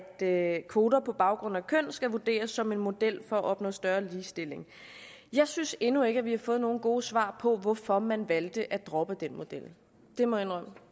der at kvoter på baggrund af køn skal vurderes som en model for at opnå større ligestilling jeg synes endnu ikke at vi har fået nogen gode svar på hvorfor man valgte at droppe den model jeg må indrømme at